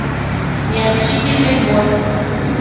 необщительный босс